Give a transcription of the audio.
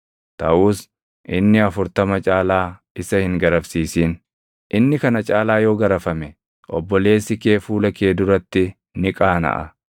taʼus inni afurtama caalaa isa hin garafsiisin. Inni kana caalaa yoo garafame obboleessi kee fuula kee duratti ni qaanaʼa.